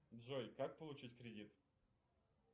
джой как получить кредит